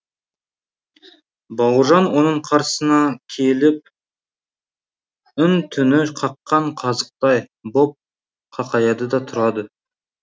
бауыржан оның қарсысына келіп үн түні қаққан қазықтай боп қақаяды да тұрады